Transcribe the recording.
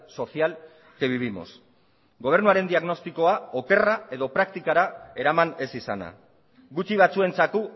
social que vivimos gobernuaren diagnostikoa okerra edo praktikara eraman ez izana gutxi batzuentzako